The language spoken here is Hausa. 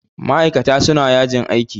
Ma'ikata suna yajin aiki.